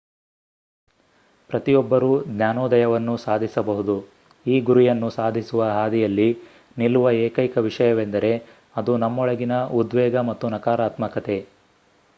ಪ್ರತಿಯೊಬ್ಬರೂ ಜ್ಞಾನೋದಯವನ್ನು ಸಾಧಿಸಬಹುದು ಈ ಗುರಿಯನ್ನು ಸಾಧಿಸುವ ಹಾದಿಯಲ್ಲಿ ನಿಲ್ಲುವ ಏಕೈಕ ವಿಷಯವೆಂದರೆ ಅದು ನಮ್ಮೊಳಗಿನ ಉದ್ವೇಗ ಮತ್ತು ನಕಾರಾತ್ಮಕತೆ